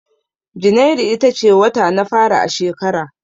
Janairu ita ce wata na fari a shekara